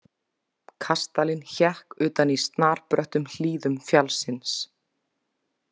Kastalinn hékk utan í snarbröttum hlíðum fjallsins.